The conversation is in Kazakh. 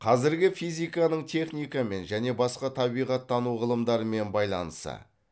қазіргі физиканың техникамен және басқа табиғаттану ғылымдарымен байланысы